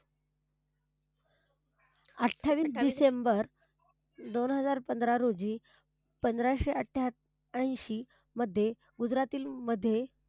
अठ्ठावीस डिसेंबर दोन हजार पंधरा रोजी पंधराशे अठ्ठ्याऐंशी मध्ये गुजरातील मध्ये,